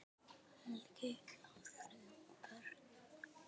Helgi á þrjú börn.